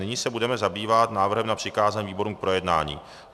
Nyní se budeme zabývat návrhem na přikázání výborům k projednání.